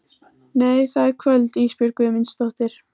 Nei það er kvöld Ísbjörg Guðmundsdóttir.